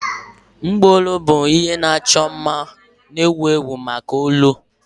Mgbaolu bụ ihe ịchọ mma na-ewu ewu maka olu.